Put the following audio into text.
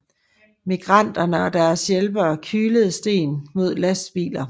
Migranterne og deres hjælpere kylede sten mod lastbiler